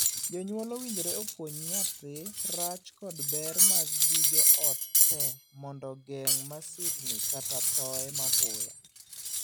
Jonyuol owinjore opuonj nyathi rach kod ber mag gige ot tee mondo geng' masirni kata thooye mapoya.